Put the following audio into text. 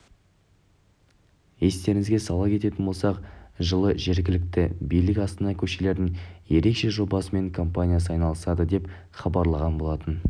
естеріңізге сала кететін болсақ жылы жергілікті билік астана көшелерінің ерекше жобасымен компаниясы айналысады деп хабарлаған болатын